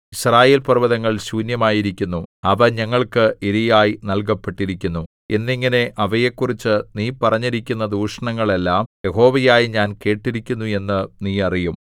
യിസ്രായേൽപർവ്വതങ്ങൾ ശൂന്യമായിരിക്കുന്നു അവ ഞങ്ങൾക്ക് ഇരയായി നല്കപ്പെട്ടിരിക്കുന്നു എന്നിങ്ങനെ അവയെക്കുറിച്ച് നീ പറഞ്ഞിരിക്കുന്ന ദൂഷണങ്ങൾ എല്ലാം യഹോവയായ ഞാൻ കേട്ടിരിക്കുന്നു എന്ന് നീ അറിയും